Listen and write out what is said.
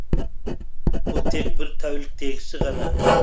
бұл тек бір тәуліктегісі ғана